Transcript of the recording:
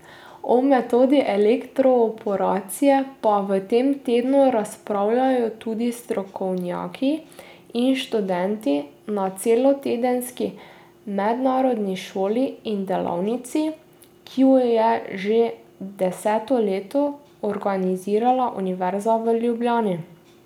O metodi elektroporacije pa v tem tednu razpravljajo tudi strokovnjaki in študenti na celotedenski mednarodni šoli in delavnici, ki ju je že deseto leto organizirala Univerza v Ljubljani.